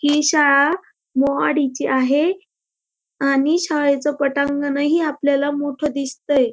ही शाळा मोहाडीची आहे आणि शाळेच पटांगण ही आपल्याला मोठ दिसतंय.